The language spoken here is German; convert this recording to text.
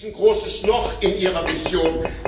Da ist ein großes Loch in Ihrer Vision!